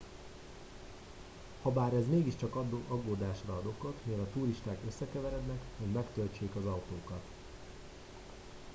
habár ez mégiscsak aggódásra ad okot mivel a turisták összekeverednek hogy megtöltsék az autókat